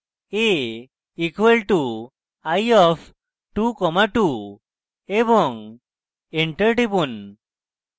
> a = eye of 22 এবং enter টিপুন